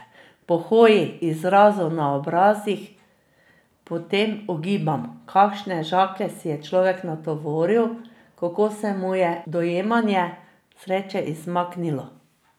Po hoji, izrazu na obrazih potem ugibam, kakšne žaklje si je človek natovoril, kako se mu je dojemanje sreče izmaknilo.